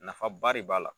Nafaba de b'a la